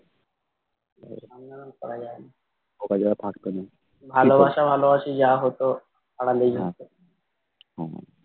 সামনে ওরকম করা যায় না ভালোবাসা ভালোবাসি যা হতো আড়ালেই হতো